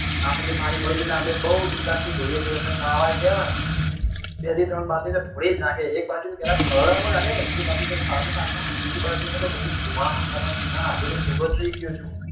આપણને પાણી મળ્યું છે તો આપડે બઉ bindass થી ઢોલીએ છીએ એમાય નાવા ગયા હોય ને બે થી ત્રણ બાલટી તો ઢોળી જ નાખે એક બાજુ થી પેલા પલાળવા માં કાઢે બીજી બાલટી સાબુ નાખવા માં અને ત્રીજી બાલટી માં તો બધું ધોવા માં ને કરવા માં નાં હજુ તો કોરો જ રહી ગયો છું